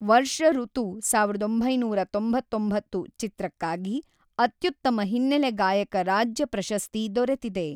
ವರ್ಷಋತು ಸಾವಿರದ ಒಂಬೈನೂರ ತೊಂಬತ್ತೊಂಬತ್ತು ಚಿತ್ರಕ್ಕಾಗಿ ಅತ್ಯುತ್ತಮ ಹಿನ್ನೆಲೆ ಗಾಯಕ ರಾಜ್ಯ ಪ್ರಶಸ್ತಿ ದೊರೆತಿದೆ.